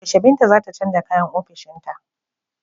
Yaushe Binta za ta canja kayan ofishinta.